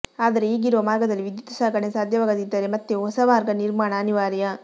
ಆದರೆ ಈಗಿರುವ ಮಾರ್ಗದಲ್ಲಿ ವಿದ್ಯುತ್ ಸಾಗಣೆ ಸಾಧ್ಯವಾಗದಿದ್ದರೆ ಮತ್ತೆ ಹೊಸ ಮಾರ್ಗ ನಿರ್ಮಾಣ ಅನಿವಾರ್ಯ